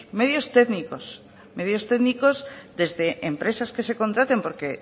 medios técnicos medios técnicos desde empresas que se contraten porque